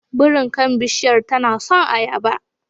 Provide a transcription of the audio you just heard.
Birin kan bishiyar tana son ayaba.